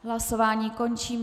Hlasování končím.